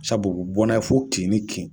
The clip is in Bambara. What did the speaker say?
Sabu bɔ na ye fo kin i kin.